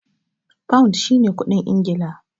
Pound shi ne kuɗin Ingila.